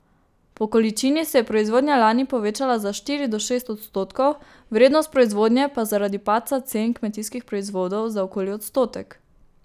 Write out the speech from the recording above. Po količini se je proizvodnja lani povečala za štiri do šest odstotkov, vrednost proizvodnje pa zaradi padca cen kmetijskih proizvodov za okoli odstotek.